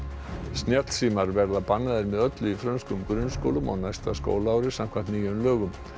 snjallsímar verða bannaðir með öllu í frönskum grunnskólum á næsta skólaári samkvæmt nýjum lögum